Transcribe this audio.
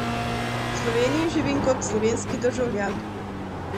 V Sloveniji živim kot slovenski državljan.